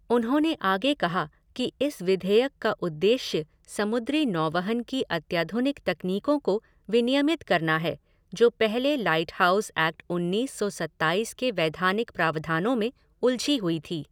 उन्होंने आगे कहा कि इस विधेयक का उद्देश्य समुद्री नौवहन की अत्याधुनिक तकनीकों को विनियमित करना है जो पहले लाइटहाउस एक्ट उन्नीस सौ सत्ताईस के वैधानिक प्रावधानों में उलझी हुई थी।